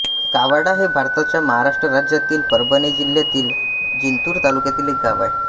कावाडा हे भारताच्या महाराष्ट्र राज्यातील परभणी जिल्ह्यातील जिंतूर तालुक्यातील एक गाव आहे